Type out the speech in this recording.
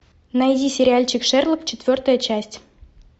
найди сериальчик шерлок четвертая часть